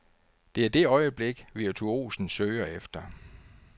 Det er det øjeblik, virtuosen søger efter.